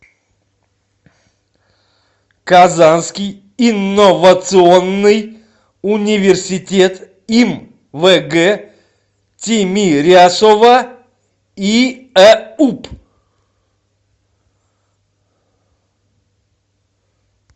казанский инновационный университет им вг тимирясова иэуп